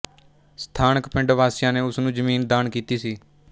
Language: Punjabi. ਸਥਾਨਕ ਪਿੰਡ ਵਾਸੀਆਂ ਨੇ ਉਸ ਨੂੰ ਜ਼ਮੀਨ ਦਾਨ ਕੀਤੀ ਸੀ